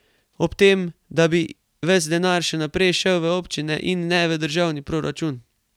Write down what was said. Ob tem, da bi ves denar še naprej šel v občine in ne v državni proračun.